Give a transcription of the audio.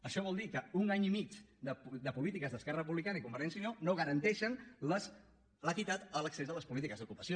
això vol dir que un any i mig de polítiques d’esquerra republicana i convergència i unió no garanteixen l’equitat en l’accés a les polítiques d’ocupació